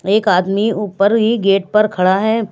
एक आदमी ऊपर ही गेट पर खड़ा है।